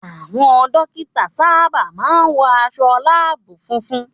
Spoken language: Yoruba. Àwọn dókítà sábà máa ń wọ aṣọ láàbù funfun